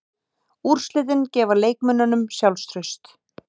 Úrslitin gefa leikmönnunum sjálfstraust.